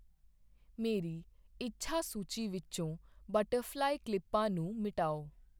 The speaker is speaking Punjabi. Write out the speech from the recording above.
ਮੇਰੀ ਇੱਛਾ ਸੂਚੀ ਵਿੱਚੋਂ ਬਟਰਫ਼ਲਾਈ ਕਲਿੱਪਾਂ ਨੂੰ ਮਿਟਾਓ